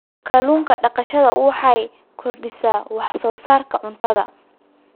Kallun daqashada waxay kordhisaa wax soo saarka cuntada.